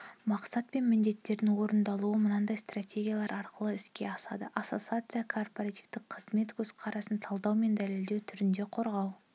мақсат пен міндеттердің орындалуы мынадай стратегиялар арқылы іске асады ассоциация кооперативтік қызмет көзқарасын талдау мен дәлелдеу түрінде қорғау